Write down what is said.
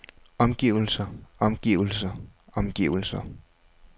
omgivelser omgivelser omgivelser